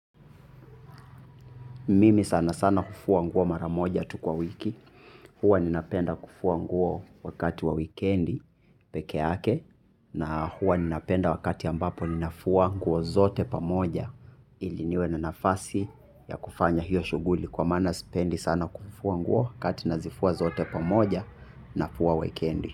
Mimi sana sana hufua nguo mara moja tu kwa wiki, huwa ninapenda kufua nguo wakati wa weekendi pekeake. Na huwa ninapenda wakati ambapo ninafua nguo zote pamoja ili niwe na nafasi ya kufanya hiyo shughuli kwa maana sipendi sana kufua nguo kati nazifua zote pamoja. Na fua wikendi.